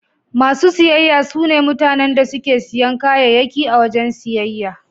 Masu siyayya sune mutanen da suke siyan kayayyaki a wajen siyayya.